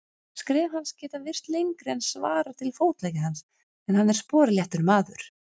Skref hans geta virst lengri en svarar til fótleggja hans, en hann er sporléttur maður.